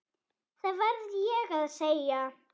Það verð ég að segja.